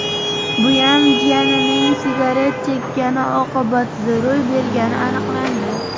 Buyam jiyanining sigaret chekkani oqibatida ro‘y bergani aniqlandi.